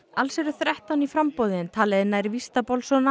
alls eru þrettán í framboði en talið er nær víst að